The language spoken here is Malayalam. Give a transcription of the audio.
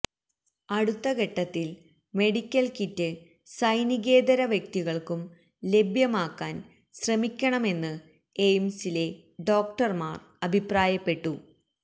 അടുത്ത ഘട്ടത്തിൽ മെഡിക്കൽ കിറ്റ് സൈനികേതര വ്യക്തികൾക്കും ലഭ്യമാക്കാൻ ശ്രമിക്കണമെന്ന് എയിംസിലെ ഡോക്ടർമാർ അഭിപ്രായപ്പെട്ടു